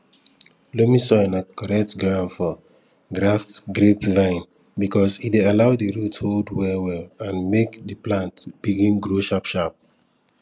loamy soil na correct ground for graft grapevine because e dey allow di root hold wellwell and make di plant begin grow sharpsharp